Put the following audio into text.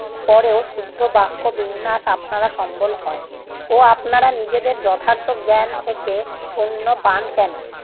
পরেও শুদ্ধ বাক্য বিন্যাস আপনার সম্বল হয় ও আপনারা নিজেদের যথার্থ জ্ঞান থেকে শুন্য পান কেনো?